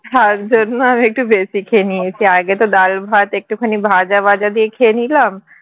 হ্যাঁ এর জন্য একটু বেশি খেয়ে নিয়েছি আগে তো ডালভাত একটুখানি ভাজাবাজা দিয়ে খেয়ে নিলাম